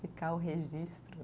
Ficar o registro.